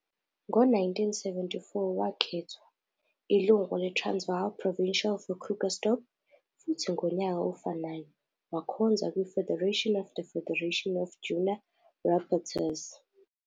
Ngo-1974, wakhethwa. ilungu leTransvaal Provincial for Krugersdorp, futhi ngonyaka ofanayo wakhonza kwi-Federation of the Federation of Junior Rapportryers.